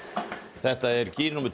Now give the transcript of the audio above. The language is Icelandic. þetta er kýr númer